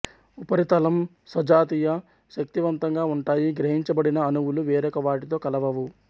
ఉపరితలం సజాతీయ శక్తివంతంగా ఉంటాయి గ్రహించబడిన అణువులు వేరొక వాటితో కలవవు